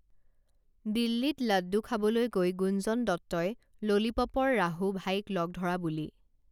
দিল্লীত লাড্ডু খাবলৈ গৈ গুঞ্জন দত্তই ললিপপৰ ৰাহু ভাইক লগ ধৰা বুলি